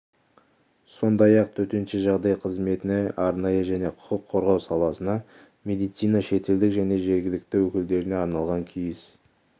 сондай-ақ төтенше жағдай қызметіне арнайы және құқық қорғау саласына медицина шетелдік және жергілікті өкілдеріне арналған киіз